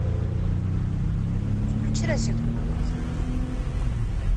включи розетку на кухне